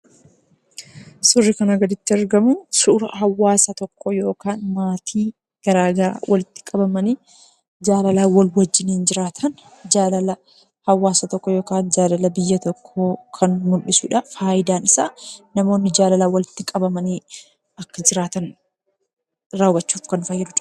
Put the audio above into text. Suurri kanaa gaditti argamu suura hawaasa tokkoo yookaan maatii garaagaraa walitti qabamanii jaalalaan wal wajjiniin jiraatan, jaalala hawaasa tokkoo yookaan jaalala biyya tokkoo kan mul'isuudha. Faayidaan isaa, namoonni jaalalaan walitti qabamanii akka jiraatan raawwachuuf kan nu fayyaduudha.